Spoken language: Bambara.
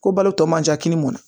Ko balo tɔ man ca kini mun na